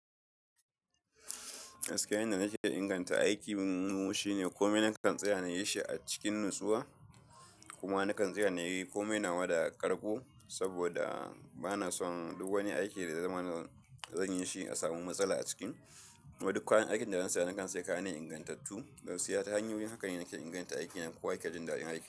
Aske wanda nake inganta aiki munmu shine komai na kan tsira nayi shi a cikin natsuwa Aske wanda nake inganta aiki munmu shine komai na kan tsira nayi shi a cikin natsuwa kuma na kan tsira nayi komai nawa da karko saboda bana son duk wani aiki da zamanin zan yi shi a samu matsala a ciki. Yadda duk kayan aikin da zan saya, na kan sayi kayan ingantattu.